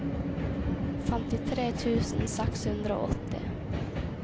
femtitre tusen seks hundre og åtti